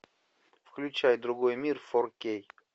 включай другой мир фор кей